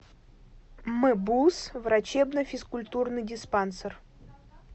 мбуз врачебно физкультурный диспансер